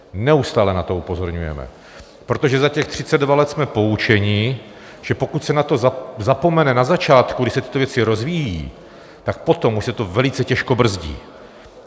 Neustále na to upozorňujeme, protože za těch 32 let jsme poučeni, že pokud se na to zapomene na začátku, když se tyto věci rozvíjejí, tak potom už se to velice těžko brzdí.